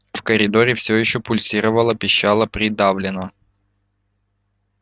в коридоре все ещё пульсировало-пищало придавленно